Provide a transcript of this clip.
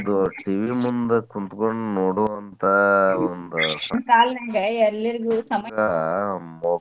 TV ಮುಂದ ಕುಂತ್ಕೊಂಡ್ ನೋಡುವಂತಾ ಒಂದ್